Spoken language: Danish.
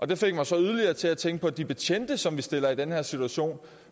det fik mig så yderligere til at tænke på de betjente som vi stiller i den her situation